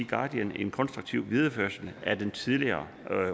guardian en konstruktiv videreførelse af den tidligere